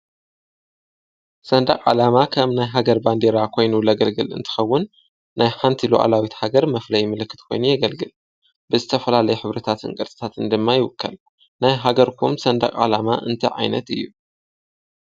ሠንዳቕ ዓላማ ኸም ናይ ሃገር ባንዲራ ኾይኑ ለገልግል እንትኸውን ናይ ሓንቲ ኢሎዓላዊት ሃገር መፍለይ ምልክት ኮይኑ የገልግል ብዝተፈላለይ ኅብርታት ንቀርጽታትን ድማ ይውከል ናይ ሃገርኩም ሠንዳቕ ዓላማ እንቲ ዓይነት እዩ።